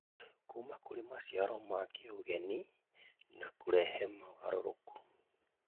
kũma kũrĩ maciaro ma kĩũgeni na kũrehe mogarũrũku